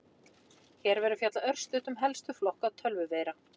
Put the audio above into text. Hér verður fjallað örstutt um helstu flokka tölvuveira.